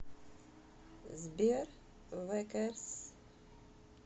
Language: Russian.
сбер вэ кэрс